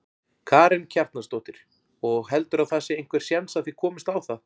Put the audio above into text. Karen Kjartansdóttir: Og heldurðu að það sé einhver séns að þið komist á það?